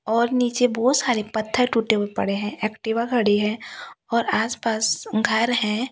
और नीचे बहोत सारे पत्थर टूटे हुए पड़े है एक्टिवा खड़ी है और आस पास घर है।